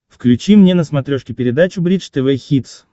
включи мне на смотрешке передачу бридж тв хитс